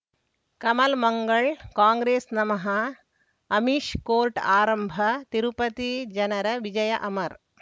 ಕಮಲ್ ಮಂಗಳ್ ಕಾಂಗ್ರೆಸ್ ನಮಃ ಅಮಿಷ್ ಕೋರ್ಟ್ ಆರಂಭ ತಿರುಪತಿ ಜನರ ವಿಜಯ ಅಮರ್